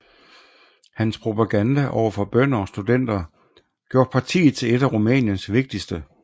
Hans propaganda over for bønder og studenter gjorde partiet til et af Rumæniens vigtigste